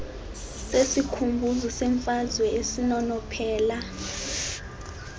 sesikhumbuzo semfazwe esinonophela